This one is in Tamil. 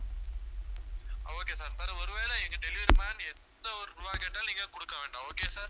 okay sir sir ஒருவேளை எங்க delivery man எந்த ஒரு ரூபாய் கேட்டாலும் நீங்க குடுக்க வேண்டாம் okay யா sir